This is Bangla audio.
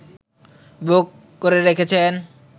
বুক করে রেখেছেন